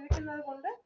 വരുന്ന